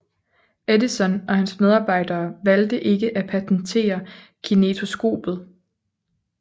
Edison og hans medarbejdere valgte ikke at patentere kinetoskopet